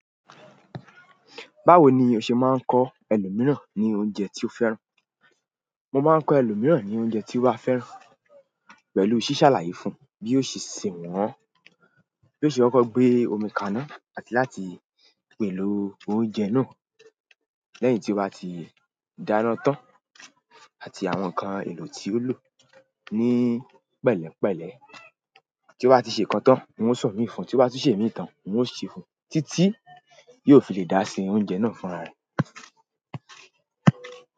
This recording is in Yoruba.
Báwo ni o ṣe máa ń kọ́ ẹlòmíràn ní oúnjẹ tí o fẹ́ràn? Mo máa ń kọ́ ẹlòmíràn ní oúnjẹ tí wọ́n ó bá fẹ́ pẹ̀lú ṣíṣàlàyé fún un bí ó ṣe ṣẹ̀ wọ́n, bí ó ṣe máa kọ gbé omi kaná àti láti pèlò oúnjẹ náà lẹ́yìn tí ó bá ti dáná tán àti àwọn ǹkan èlò tí ó lò ní pẹ̀lẹ́ pẹ̀lẹ́. Ti nba ti se kan tán, n Semi fún mi, tó bá tún Semi tán, n ó tún ṣe fún titi yọ fi lè dá se oúnjẹ fún ra ẹ.